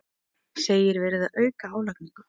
Segir verið að auka álagningu